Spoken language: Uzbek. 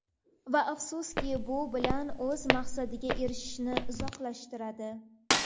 Va afsuski, bu bilan o‘z maqsadiga erishishni uzoqlashtiradi.